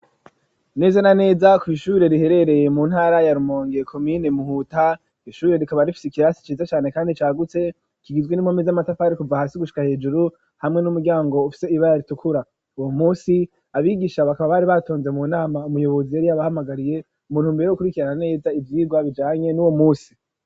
Neze na neza kw'ishure riherereye mu ntara ya rumonge komine muhuta, ishure rikaba rifise ikirasi cize cane kandi cagutse kigizwe n'impome z'amatafari kuva hasi gushika hejuru hamwe n'umuryango ufise ibara ritukura, uwo munsi abigisha bakaba bari batonze mu nama umuyobozi yari abahamagariye umuntu mbere wo kurikira na neza ivyigwa bijanye n'uwo musi.